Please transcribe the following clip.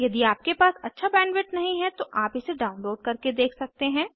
यदि आपके पास अच्छी बैंडविड्थ नहीं है तो आप इसे डाउनलोड करके देख सकते हैं